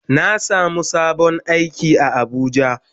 Na samu sabon aiki a abuja.